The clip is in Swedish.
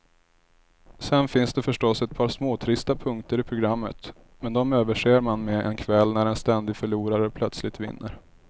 Sen finns det förstås ett par småtrista punkter i programmet, men de överser man med en kväll när en ständig förlorare plötsligt vinner.